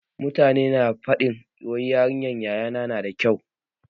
Mutane na ta faɗin wai yarinyar yaya na na da kyau.